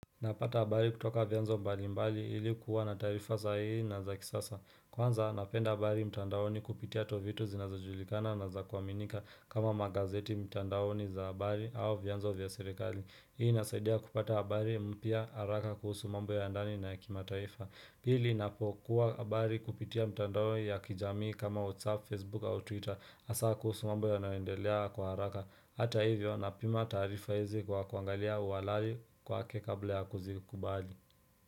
Napata habari kutoka vyanzo mbalimbali ilikuwa na taarifa saa hii na za kisasa Kwanza napenda habari mtandaoni kupitia tovuti zinazojulikana na za kuaminika kama magazeti mtandaoni za habari au vyanzo vya serikali Hii inasaidia kupata habari mpya haraka kuhusu mambo ya ndani na kimataifa Pili ninapokuwa habari kupitia mtandaoni ya kijamii kama WhatsApp, Facebook au Twitter hasa kuhusu mambo yanayoendelea kwa haraka Hata hivyo napima taarifa hizi kwa kuangalia uwalari kwake kabla ya kuzikubali.